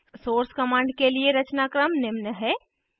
source command के लिए रचनाक्रम निम्न है